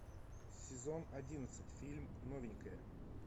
сезон одиннадцать фильм новенькая